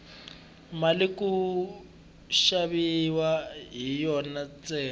mali ku xaviwa hi yona ntsena